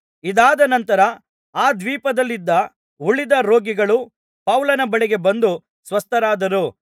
ಇದಾದ ನಂತರ ಆ ದ್ವೀಪದಲ್ಲಿದ್ದ ಉಳಿದ ರೋಗಿಗಳು ಪೌಲನ ಬಳಿಗೆ ಬಂದು ಸ್ವಸ್ಥರಾದರು